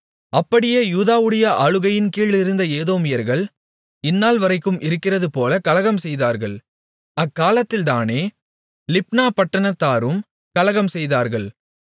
அப்படியே யூதாவுடைய ஆளுகையின் கீழிருந்த ஏதோமியர்கள் இந்நாள்வரைக்கும் இருக்கிறதுபோல கலகம்செய்தார்கள் அக்காலத்தில்தானே லிப்னா பட்டணத்தாரும் கலகம்செய்தார்கள்